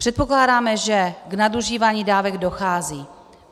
Předpokládáme, že k nadužívání dávek dochází.